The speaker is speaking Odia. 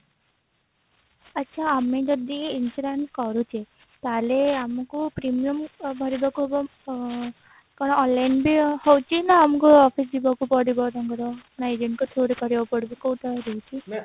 ଆଚ୍ଛା ଆମେ ଯଦି insurance କରୁଛେ ତାହେଲେ ଆମକୁ premium ଭରିବାକୁ ହେବ କଣ online ବି ହଉଛି ନା ଆମକୁ office ଯିବାକୁ ପଡିବ ତାଙ୍କର ନା agent ଙ୍କ through ରେ କରିବାକୁ ପଡିବ କୋଉ ଉପାୟ ରହୁଛି